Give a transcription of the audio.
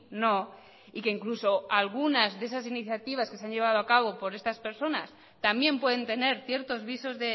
no y que incluso algunas de esas iniciativas que se han llevado a cabo por estas personas también pueden tener ciertos visos